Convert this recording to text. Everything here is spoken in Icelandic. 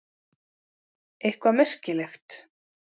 Eitthvað merkilegt?